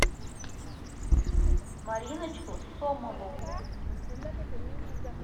мариночку сомову